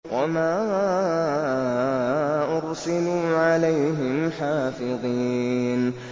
وَمَا أُرْسِلُوا عَلَيْهِمْ حَافِظِينَ